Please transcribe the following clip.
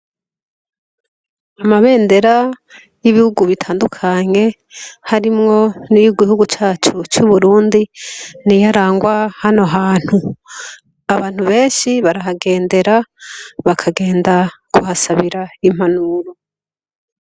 Amabendera, y'ibihugu bitandukanye, harimwo n'iyigihugu cacu c'Uburundi ,niyarangwa hano hantu .Abantu benshi, barahagendera , bakagenda kuhasabira impanuro.